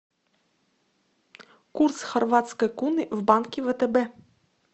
курс хорватской куны в банке втб